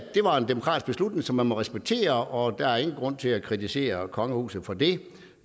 det var en demokratisk beslutning som man må respektere og der er ikke grund til at kritisere kongehuset for det